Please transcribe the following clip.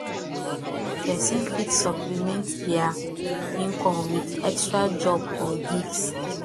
person fit suppliment their income with extra job or gigs